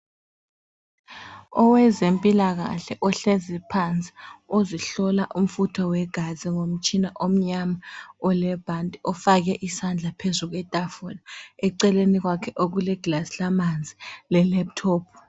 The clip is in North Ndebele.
Owezempilakahle ohlezi phansi. Ozihlola umfutho wegazi ngomtshina omnyama olebhanti ofake isandla phezu kwetafula. Eceleni kwakhe okuleglass lamanzi le laptop.